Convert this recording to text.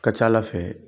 Ka ca ala fɛ